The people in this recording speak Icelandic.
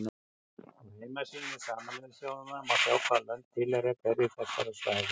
Á heimasíðu Sameinuðu þjóðanna má sjá hvaða lönd tilheyra hverju þessara svæða.